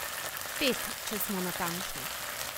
Pet, če smo natančni.